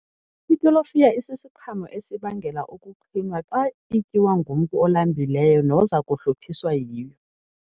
Itolofiya sisiqhamo esibangela ukuqhinwa xa ityiwa ngumntu olambileyo noza kuhluthiswa yiyo.